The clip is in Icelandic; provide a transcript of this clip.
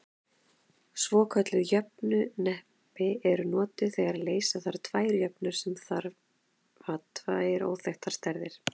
Svokölluð jöfnuhneppi eru notuð þegar leysa þarf tvær jöfnur sem hafa tvær óþekktar stærðir.